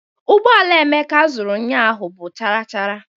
Ụgbọala Emeka zuru ụnyaahụ bụ charachara